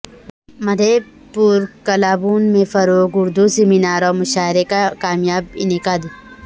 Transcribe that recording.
مدھے پورہ کلابھون میں فروغ اردو سیمینار اورمشاعرے کاکامیاب انعقاد